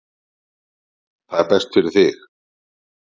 Það er best fyrir þig.